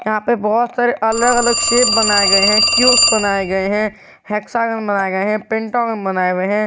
यहां पे बहुत सारे अलग अलग शेप बनाए गए हैं क्यूब बनाए गए हैं हेक्सागन बनाए गए हैं पेंटागन बनाए हुए हैं।